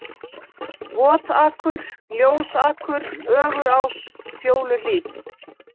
Votakur, Ljósakur, Ögurás, Fjóluhlíð